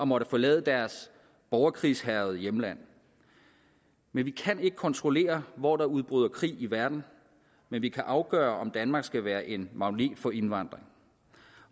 måtte forlade deres borgerkrigshærgede hjemland vi kan ikke kontrollere hvor der udbryder krig i verden men vi kan afgøre om danmark skal være en magnet for indvandring